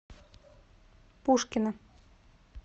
пушкино